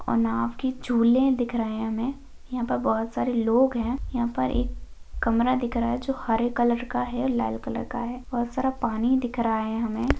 और नावकी झुले दिख रहे है हमे यहाँ पर बहुत सारे लोग है यहाँ पर एक कमरा दिख रहा है जो हरे कलर का है लाल कलर का है और बहोत सारा पानी दिख रहा है हमे।